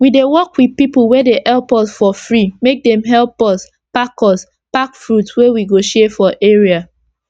we dey work with pipu wey dey help for free make dem epp us pack us pack fruit wey we go share for area